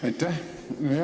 Aitäh!